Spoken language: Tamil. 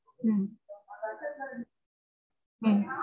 உம் உம்